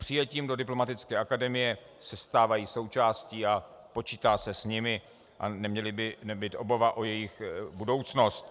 Přijetím do Diplomatické akademie se stávají součástí a počítá se s nimi a neměla by být obava o jejich budoucnost.